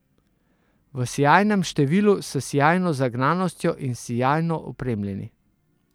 V sijajnem številu, s sijajno zagnanostjo in sijajno opremljeni.